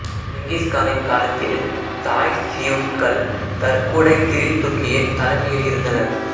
Genghis கானின் காலத்தில் தாய்சியுட்கள் தர்குடை கிரில்துக்கின் தலைமையில் இருந்தனர்